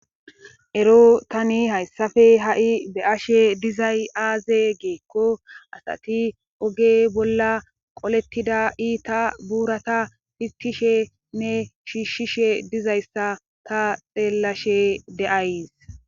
ero tani hayssafe ha7i be7ashe dizay aaze giikko asati oge bolla qolettida ita buurata fitishe nne shiishshishe dizayssa ta xeellashe de7ays